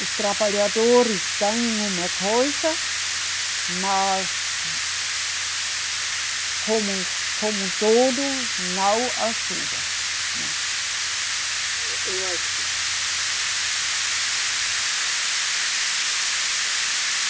Os trabalhadores ganham uma coisa, mas, como, como todo, não ajuda, né. Não